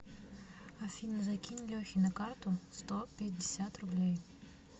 афина закинь лехе на карту сто пятьдесят рублей